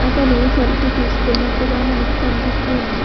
అతను సెల్ఫీ తీసుకుంటున్నట్టుగా మనకి అనిపిస్తూ వుంది.